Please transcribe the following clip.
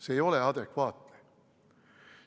See ei ole adekvaatne.